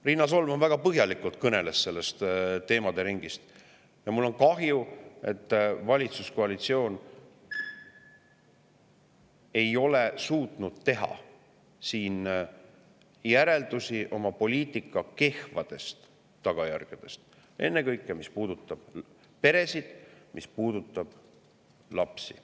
Riina Solman kõneles väga põhjalikult olevast teemade ringist ja mul on kahju, et valitsuskoalitsioon ei ole suutnud teha järeldusi oma poliitika kehvadest tagajärgedest, ennekõike mis puudutab peresid ja lapsi.